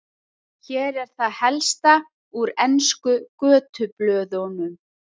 Hér er það helsta úr ensku götublöðunum.